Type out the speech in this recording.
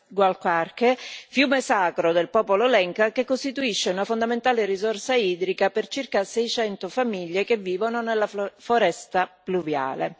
Gualcarque, fiume sacro del popolo Lenca, che costituisce una fondamentale risorsa idrica per circa 600 famiglie che vivono nella foresta pluviale.